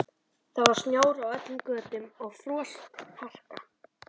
Það var snjór á öllum götum og frostharka.